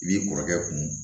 I b'i kɔrɔkɛ kun